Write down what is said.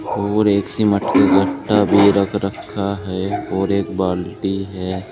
और एक सिमट के गट्ठा भी रख रखा है और एक बाल्टी है।